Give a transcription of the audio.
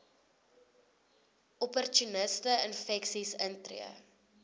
opportunistiese infeksies intree